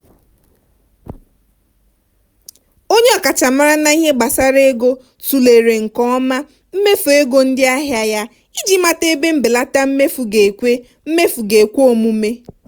nkezi nkezi ụgwọ ọnwa kwa afọ nke ndị ọkachamara maara ihe ekwe n'akụ n'ọrụ na-aga n'ihu na-abawanye.